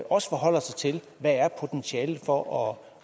også forholder sig til hvad potentialet for at